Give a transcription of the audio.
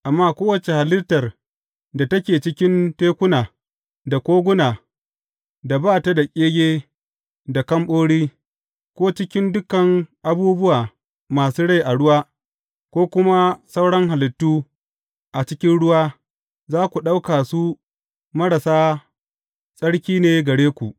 Amma kowace halittar da take cikin tekuna da koguna da ba ta da ƙege da kamɓori, ko cikin dukan abubuwa masu rai a ruwa ko kuma sauran halittu a cikin ruwa za ku ɗauka su marasa tsaki ne gare ku.